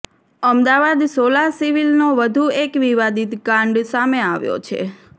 અમદાવાદ સોલા સિવિલનો વધુ એક વિવાદીત કાંડ સામે આવ્યો છે